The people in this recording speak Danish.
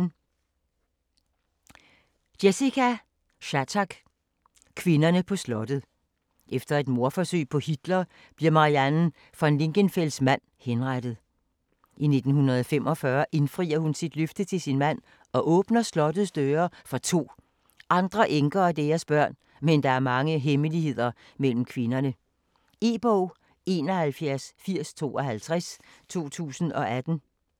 Shattuck, Jessica: Kvinderne på slottet Efter et mordforsøg på Hitler, bliver Marianne von Lingenfels mand henrettet. I 1945 indfrier hun sit løfte til sin mand og åbner slottets døre for 2 andre enker og deres børn, men der er mange hemmeligheder mellem kvinderne. E-bog 718052 2018.